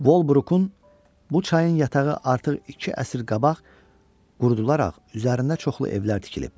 Volbrukun bu çayın yatağı artıq iki əsr qabaq qurudularaq üzərində çoxlu evlər tikilib.